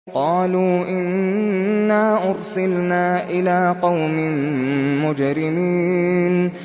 قَالُوا إِنَّا أُرْسِلْنَا إِلَىٰ قَوْمٍ مُّجْرِمِينَ